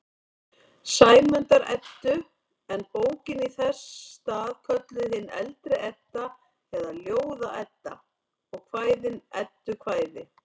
Sæmundar-Eddu, en bókin í þess stað kölluð hin eldri Edda eða Ljóða-Edda og kvæðin eddukvæði.